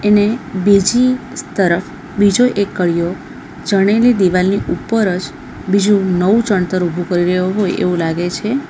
ને બીજી તરફ બીજો એક કડીઓ ચણેલી દીવાલની ઉપર જ બીજું નવું ચણતર ઊભુ કરી રહ્યો હોય એવું લાગે છે.